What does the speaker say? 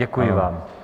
Děkuji vám.